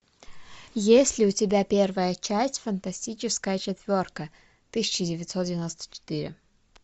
есть ли у тебя первая часть фантастическая четверка тысяча девятьсот девяносто четыре